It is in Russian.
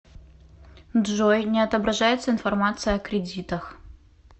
джой не отображается информация о кредитах